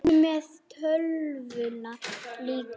Komdu með tölvuna líka.